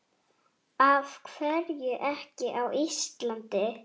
Af hverju ekki á Íslandi?